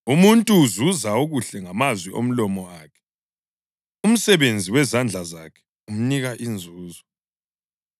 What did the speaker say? Umuntu uzuza okuhle ngamazwi omlomo wakhe, umsebenzi wezandla zakhe umnika inzuzo.